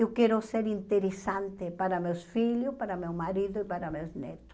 Eu quero ser interessante para meus filhos, para meu marido e para meus netos.